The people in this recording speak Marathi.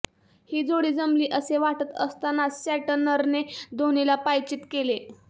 ही जोडी जमली असे वाटत असतानाच सँटनरने धोनीला पायचीत केले